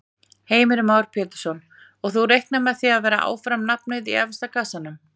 Heimir Már Pétursson: Og þú reiknar með að vera áfram nafnið í efsta kassanum?